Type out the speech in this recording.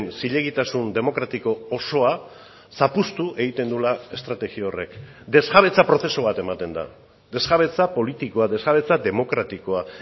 zilegitasun demokratiko osoa zapuztu egiten duela estrategia horrek desjabetza prozesu bat ematen da desjabetza politikoa desjabetza demokratikoa